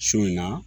Su in na